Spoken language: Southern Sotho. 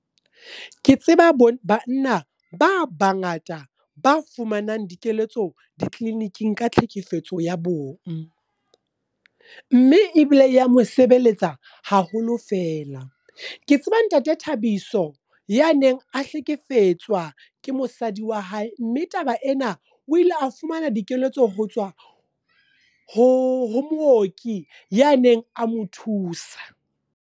Ke tseba bo banna ba bangata ba fumanang dikeletso, di-clinic-ing ka tlhekefetso ya bona. Mme ebile ya mo sebeletsa haholo feela. Ke tseba ntate Thabiso, ya neng a hlekefetswa ke mosadi wa hae. Mme taba ena o ile a fumana dikeletso ho tswa ho mooki ya neng a mo thusa.